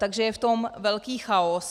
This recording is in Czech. Takže je v tom velký chaos.